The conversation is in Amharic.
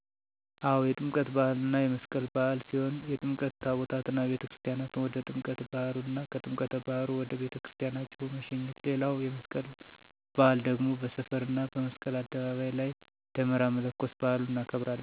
አው የጥምቀት በሃል እና የመስቀል በዓል ሲሆን የጥምቀት ታቦታትን አቤተክርስትያን ወደ ጥምቀት ባህሩ እና ከጥምቀተ ባህሩ ወደ ቤተክርስቲያን አጅቦ መሸኘት ሌላዉ የመስቀል በአል ደግሞ በሰፈር እና መስቀል አደባባይ ላይ ደመራ መለኮስ በአሉን እናከብራለን።